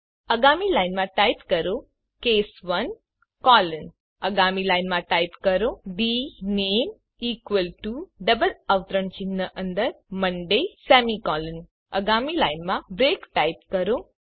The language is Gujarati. આગામી લાઈનમાં ટાઇપ કરો કેસ 1 કોલન આગામી લાઇનમાં ટાઇપ કરો ડીનેમ ઇકવલ ટુ ડબલ અવતરણ ચિહ્ન અંદર મોન્ડે સેમીકોલન આગામી લાઇનમાં બ્રેક ટાઇપ કરો